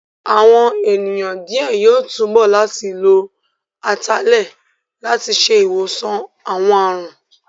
Àwọn ènìyàn díẹ̀ yóò túbọ̀ láti lo Atalẹ̀ láti ṣe ìwòsàn àwọn àrùn